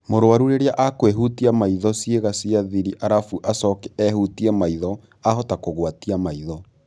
Mũrwaru rĩrĩa akũĩhutia maitho ciĩga cia thiri arafu acoke ehutie maitho, ahota kũgwatia maitho